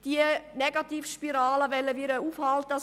Diese Negativspirale wollen wir Grünen aufhalten.